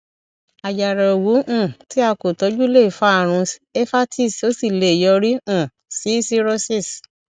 àjàrà òwú um tí a kò tọjú lè fa àrùn éèpatisí ó sì lè yọrí um sí cirrhosis